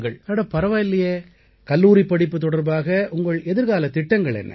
அட பரவாயில்லையே கல்லூரிப் படிப்பு தொடர்பாக உங்கள் எதிர்காலத் திட்டங்கள் என்ன